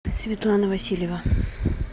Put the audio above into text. светлана васильева